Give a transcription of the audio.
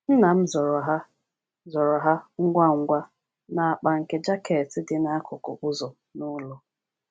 Nna m zoro ha zoro ha ngwa ngwa n’akpa nke jaket dị n’akụkụ ụzọ n’ụlọ.